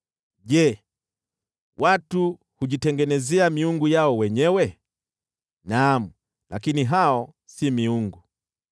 Je, watu hujitengenezea miungu yao wenyewe? Naam, lakini hao si miungu!”